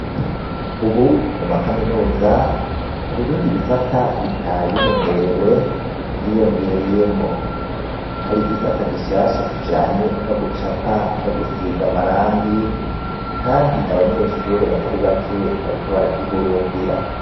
Ubu mu ma kaminuza, hari ibindi bisata bitari bimenyerewe vyiyongereyemwo. Hari igisata gishasha kijanye no gucapa no gusiga amarangi, kandi abanyeshure batari bake bariko baragihurumbira.